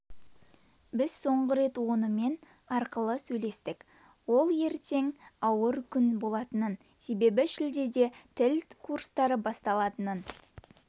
біз соңғы рет онымен арқылы сөйлестік ол ертең ауыр күн болатынын себебі шілдеде тіл курстары басталатынын